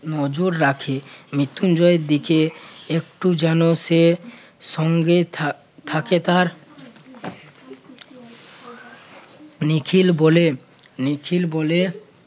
নজর রাখে মৃত্যুঞ্জয়ের দিকে একটু যেন সে সঙ্গে থাক~ থাকে তার নিখিল বলে~ নিখিল বলে